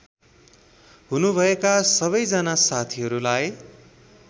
हुनुभएका सबैजना साथीहरूलाई